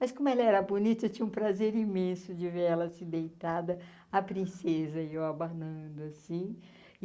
Mas como ela era bonita, eu tinha um prazer imenso de ver ela assim deitada, a princesa e eu abanando assim.